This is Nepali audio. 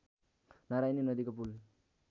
नारायणी नदीको पुल